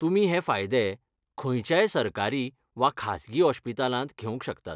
तुमी हे फायदे खंयच्याय सरकारी वा खासगी ओश्पितालांत घेवंक शकतात.